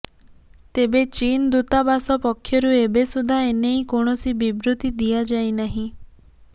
ତେବେ ଚୀନ୍ ଦୂତାବାସ ପକ୍ଷରୁ ଏବେ ସୁଦ୍ଧା ଏନେଇ କୌଣସି ବିବୃତ୍ତି ଦିଆଯାଇନାହିଁ